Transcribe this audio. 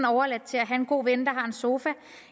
overladt til en god vens sofa